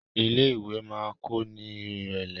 ilé ìwé ma kò ní irẹlẹ.